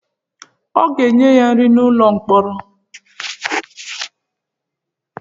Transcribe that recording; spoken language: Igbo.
A ga-enye ya nri n'ụlọ mkpọrọ?